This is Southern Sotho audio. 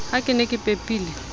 ha ke ne ke pepile